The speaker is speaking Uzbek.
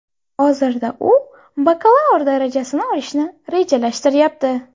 Hozirda u bakalavr darajasini olishni rejalashtiryapti.